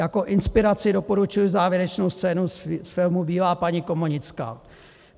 Jako inspiraci doporučuji závěrečnou scénu z filmu Bílá paní komonická.